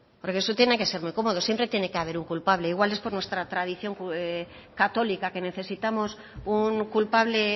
porque eso tiene que ser muy cómodo siempre tiene que haber un culpable igual es por nuestra tradición católica que necesitamos un culpable